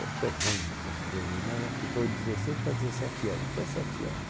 Eu sou ruim nessas coisas, mas acho que foi dezesseis para dezessete anos, dezessete anos